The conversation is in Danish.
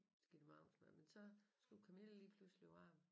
Give dem aftensmad men så skulle Camille lige pludselig på arbejde